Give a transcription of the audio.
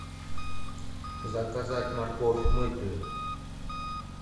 заказать морковь мытую